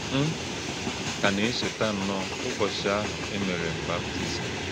M kà nā-echētà nnọọ ụ̀bọ́chí̄ ahụ̄ è mẹ́rè m̄ baptizim.